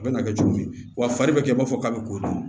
A bɛ na kɛ cogo min wa fari bɛ kɛ i b'a fɔ k'a bɛ k'o dun